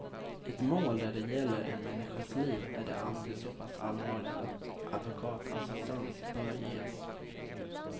I ett mål där det gäller en människas liv är det alltid så pass allvarligt att advokatassistans bör ges.